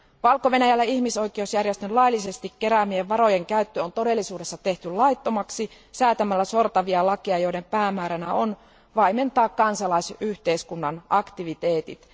Valko Venäjällä ihmisoikeusjärjestön laillisesti keräämien varojen käyttö on todellisuudessa tehty laittomaksi säätämällä sortavia lakeja, joiden päämääränä on vaimentaa kansalaisyhteiskunnan aktiviteetit.